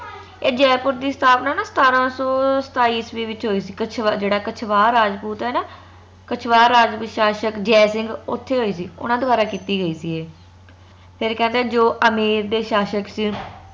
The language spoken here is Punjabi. ਏ ਜੈਪੁਰ ਦੀ ਸਥਾਪਨਾ ਨਾ ਸਤਾਰਾ ਸੋ ਸਤਾਇਸ ਈਸਵੀ ਵਿਚ ਹੋਈ ਸੀ ਕਛਵਾਹ ਕੱਛਵਾਹ ਜੇਹੜਾ ਕੱਛਵਾਹ ਰਾਜਪੂਤ ਹੈ ਨਾ ਕਛਵਾਹ ਰਾਜਪੂਤ ਸ਼ਾਸਕ ਜੈ ਸਿੰਘ ਓਥੇ ਹੋਈ ਸੀ ਓਨਾ ਦ੍ਵਾਰਾ ਕੀਤੀ ਗਯੀ ਸੀ ਏ ਫੇਰ ਕਹਿੰਦੇ ਜੋ ਅਮੇਰ ਦੇ ਸ਼ਾਸਕ ਸੀ